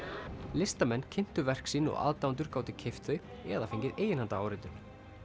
listamenn kynntu verk sín og aðdáendur gátu keypt þau eða fengið eiginhandaráritun